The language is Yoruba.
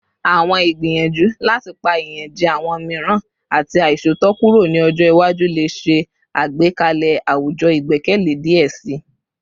Awọn igbiyanju lati pa iyanjẹ awọn miiran ati aiṣootọ kuro ni ọjọ iwaju le ṣe agbekalẹ awujọ igbẹkẹle diẹ sii